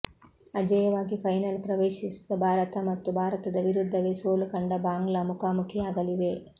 ಅಜೇಯವಾಗಿ final ಪ್ರವೇಶಿಸಿದ ಭಾರತ ಮತ್ತು ಭಾರತದ ವಿರುದ್ಧವೇ ಸೋಲು ಕಂಡ ಬಾಂಗ್ಲಾ ಮುಖಾಮುಖಿಯಾಗಲಿವೆ